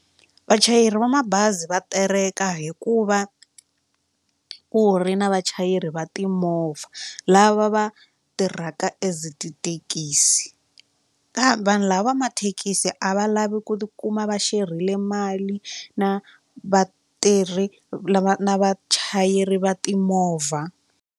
Vachayeri va mabazi va tereka hi ku va ku ri na vachayeri va timovha lava va tirhaka as tithekisi kambe vanhu lava va mathekisi a va lavi ku ti kuma va share-ile mali na vatirhi lava na vachayeri va timovha.